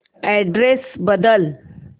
address बदल